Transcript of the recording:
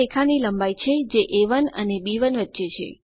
આ રેખા ની લમ્બાઈ છે જે એ1 અને બી1 વચ્ચે છે